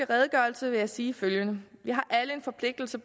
redegørelse vil jeg sige følgende vi har alle en forpligtelse